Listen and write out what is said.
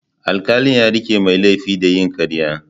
Alkalin ya rike mai laifin da yin karya.